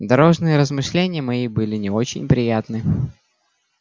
дорожные размышления мои были не очень приятны